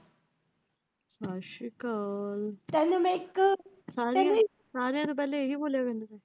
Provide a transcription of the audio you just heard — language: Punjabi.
ਸਸਰੀਕਾਲ, ਸਾਰੀਆਂ ਨੂੰ ਇਹੀ ਬੋਲਿਆ ਕਰ।